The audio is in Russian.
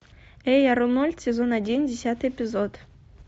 эй арнольд сезон один десятый эпизод